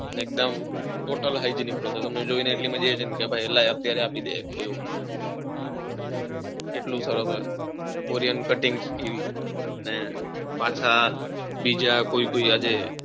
એકદમ હોટેલ ની process જોઈને એટલી મજા આવી જાય ને લાય અત્યારે આપી દે એવું એટલું સરસ હોય કોરિયન cutting, skills ને પાંચ બીજા કોઈક કોઈક આજે,